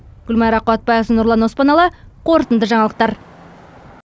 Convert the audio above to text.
гүлмайра қуатбайқызы нұрлан оспаналы қорытынды жаңалықтар